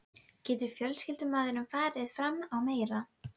Reynt hefur verið að meta á vegum Hitaveitu